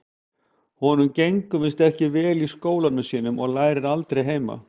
Honum gengur víst ekki vel í skólanum sínum og lærir aldrei heima.